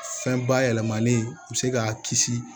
Fɛn bayɛlɛmanen u bɛ se k'a kisi